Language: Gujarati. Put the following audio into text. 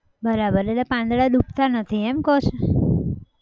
બરાબર એટલે પાંદડા ડૂબતા નથી એમ કહો છો?